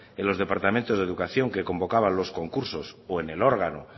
en los departamentos de educación que convocaba los concursos o en el órgano